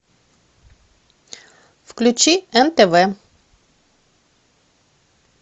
включи нтв